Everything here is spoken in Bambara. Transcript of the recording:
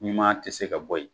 Ɲuman tɛ se ka bɔ yen.